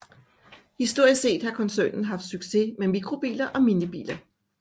Historisk set har koncernen haft succes med mikrobiler og minibiler